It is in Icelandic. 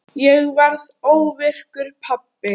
Ég varð óvirkur pabbi.